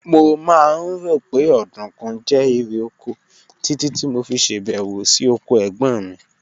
Mo máa ń rò pé ọ̀dùnkún jẹ́ irè oko títí tí mo fi ṣèbẹ̀wò sí oko ẹ̀gbọ́n mi